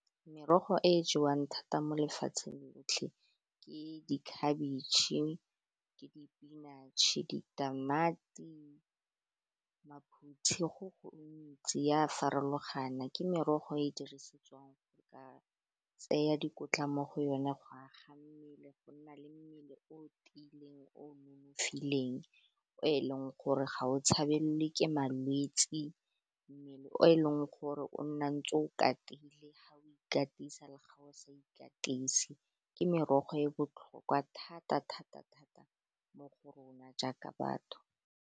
Merogo e jewang thata mo lefatsheng lotlhe ke dikhabetšhe, ke di-spinach-e, ditamati, maphutshi go gontsi ea farologana, ke merogo e dirisetswang a tseya dikotla mo go yone go aga mmele le go nna le mmele o tiileng, o nonofileng o e leng gore ga o tshabelelwe ke malwetse, mmele o e leng gore o nna ntse o katile ga o ikatisa, ga o sa ikatise ke merogo e e botlhokwa thata-thata-thata mo go rona jaaka batho.